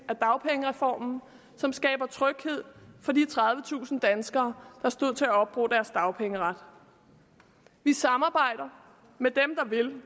af dagpengereformen som skaber tryghed for de tredivetusind danskere der stod til at opbruge deres dagpengeret vi samarbejder med dem der vil